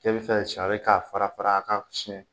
Cɛ bi fɛ ka sari ka fara a ka sunɛn